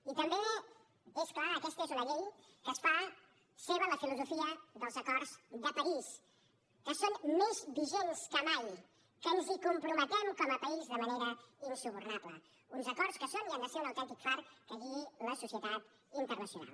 i també és clar aquesta és una llei que es fa seva la filosofia dels acords de parís que són més vigents que mai que ens hi comprometem com a país de manera insubornable uns acords que són i han de ser un autèntic far que guiï la societat internacional